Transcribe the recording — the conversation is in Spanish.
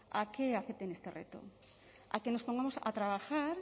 a que acepten este reto a que nos pongamos a trabajar